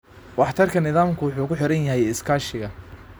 Waxtarka nidaamku wuxuu ku xiran yahay iskaashiga.